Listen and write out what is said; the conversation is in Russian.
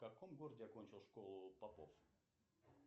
в каком городе окончил школу попов